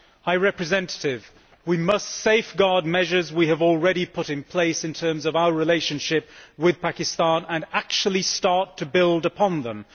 High Representative, we must safeguard measures we have already put in place in terms of our relationship with Pakistan and actually start to build upon them.